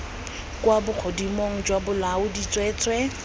kwa bogodimong jwa bolaodi tsweetswee